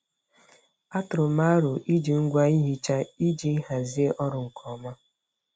Atụrụ m aro iji ngwa ihicha iji hazie ọrụ nke ọma.